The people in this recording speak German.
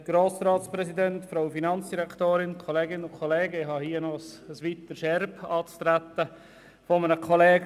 Ich habe hier ein weiteres Erbe eines Kollegen anzutreten, der nicht mehr hier ist.